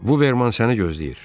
Vuman səni gözləyir.